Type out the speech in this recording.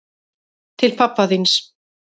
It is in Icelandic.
Til pabba þíns.